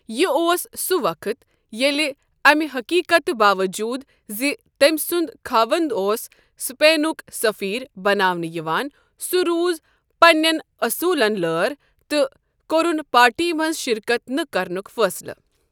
یہ اوس سہ وقت ییٚلہِ امہِ حقیقتہٕ باوجوٗد زِ تٔمۍ سُنٛد خاوند اوس سپینک سفیر بناونہٕ یوان سہ روٗز پنین اصوٗلن لٲر تہٕ كورٗن پارٹی منٛز شركت نہٕ كرنُک فٲصلہٕ ۔